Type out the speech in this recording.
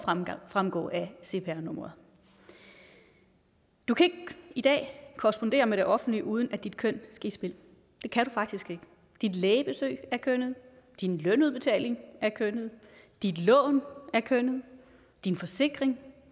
fremgå af cpr nummeret du kan ikke i dag korrespondere med det offentlige uden at dit køn skal i spil det kan du faktisk ikke dit lægebesøg er kønnet din lønudbetaling er kønnet dit lån er kønnet din forsikring